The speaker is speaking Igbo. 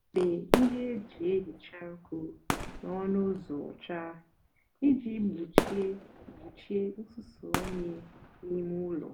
débé íhè-èjí èhicha ụkwụ n'ónú úzọ ọcha íjì gbochie gbochie nsúso unyi n'ímé úló.